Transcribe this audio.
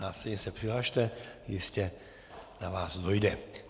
Následně se přihlaste, jistě na vás dojde.